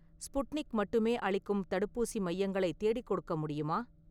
Sputnik மட்டுமே அளிக்கும் தடுப்பூசி மையங்களை தேடிக்கொடுக்க முடியுமா?